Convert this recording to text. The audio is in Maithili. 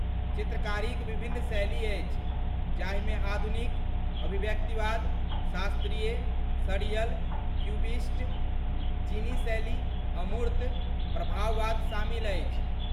चित्रकारीक विभिन्न शैली अछि जाहिमे आधुनिक, अभिव्यक्तिवाद, शास्त्रीय, सर्रियल, क्यूबिस्ट, चीनी शैली, अमूर्त, प्रभाववाद शामिल अछि।